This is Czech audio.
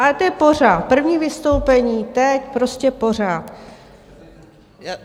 Ale to je pořád první vystoupení, teď, prostě pořád.